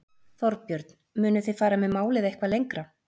Þorbjörn: Munuð þið fara með málið eitthvað lengra?